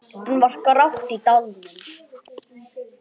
Enn var grátt í dalnum.